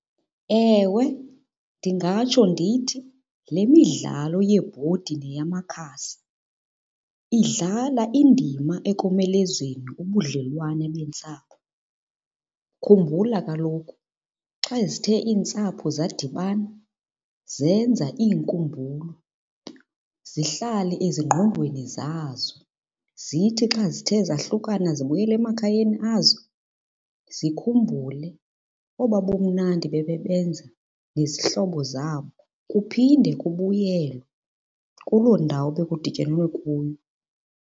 Ewe, ndingatsho ndithi le midlalo yeebhodi neyamakhasi idlala indima ekomelezeni ubudlelwane beentsapho. Khumbula kaloku, xa zithe iintsapho zadibana zenza iinkumbulo zihlale ezingqondweni zazo. Zithi xa zithe zahlukana zabuyela emakhayeni azo, zikhumbule obaa bumnandi bebebenza nezihlobo zabo. Kuphinde kubuyelwe kuloo ndawo bekudityanelwe kuyo.